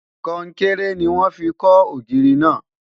konkere ní wọn fí kò ògiri na